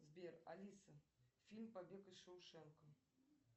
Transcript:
сбер алиса фильм побег из шоушенка